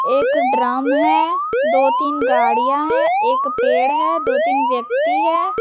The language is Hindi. एक ड्रम है दो तीन गाड़ियाँ है एक पेड़ है दो तीन व्यक्ति है।